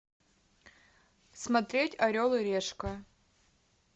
смотреть орел и решка